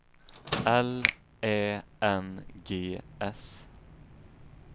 L Ä N G S